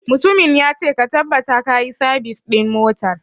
Mutumin ya ce 'Ka tabbata kayi sabis ɗin motar'!